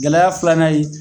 Gɛlɛya filanan ye